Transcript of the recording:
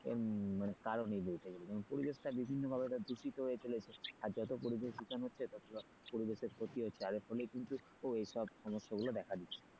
মানে কারণই বলতে গেলে পরিবেশটা বিভিন্নভাবে দূষিত হয়ে চলেছে আর যত পরিবেশ দূষণ হচ্ছে ততো পরিবেশের প্রতি যার ফলেই কিন্তু এইসব সমস্যা গুলো দেখা দিচ্ছে।